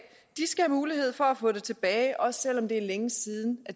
skal have mulighed for at få det tilbage også selv om det er længe siden